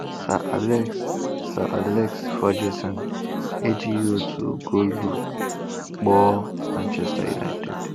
Sir Alex Sir Alex Ferguson ejighị otu goolu kpọọ Manchester United.